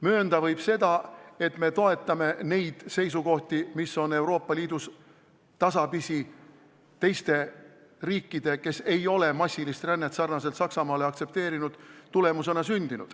Möönda võib seda, et me toetame neid seisukohti, mis on Euroopa Liidus tasapisi sündinud tänu teistele riikidele, kes ei ole vastupidi Saksamaale aktsepteerinud massilist rännet.